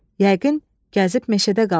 Yəqin gəzib meşədə qalıb.